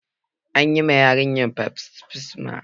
An yi wa yarinyan baftisma